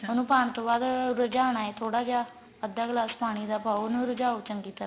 ਉਨੂੰ ਪਾਣ ਤੋਂ ਬਾਅਦ ਰਾਜਾਣਾ ਥੋੜਾ ਜਾ ਅੱਧਾ glass ਪਾਣੀ ਦਾ ਪਾਉ ਉਨੂੰ ਰਜਾਉ ਚੰਗੀ ਤਰ੍ਹਾਂ